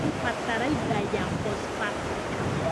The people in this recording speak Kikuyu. Bataraitha ya phosphatic